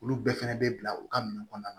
Olu bɛɛ fɛnɛ bɛ bila u ka min kɔnɔna na